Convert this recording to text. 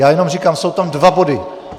Já jenom říkám, jsou tam dva body.